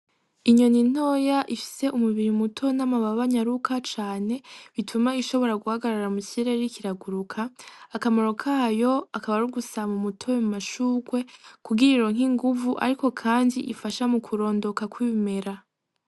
Inyoni ntoya ifise umubiri muto n'amababa anyaruka cane, bituma ishobora guhagarara mukirere iriko iraguruka, akamaro kayo akaba ari ugusarura umutobe mumashurwe, kugira ironke inguvu ariko kandi ifasha mukurondoka kw'ibimera.